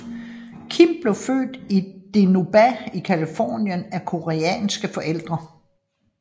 Kim blev født i Dinuba i Californien af koreanske forældre